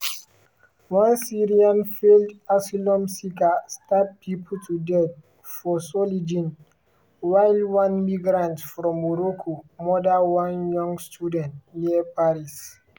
one syrian failed asylum seeker stab pipo to death for solingen while one migrant from morocco murder one young student near paris.